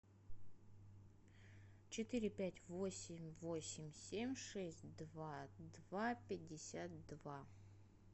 четыре пять восемь восемь семь шесть два два пятьдесят два